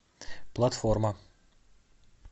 платформа